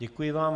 Děkuji vám.